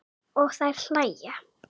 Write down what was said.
Og þær hlæja.